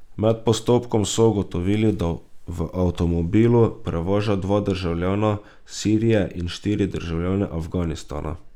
Med postopkom so ugotovili, da v avtomobilu prevaža dva državljana Sirije in štiri državljane Afganistana.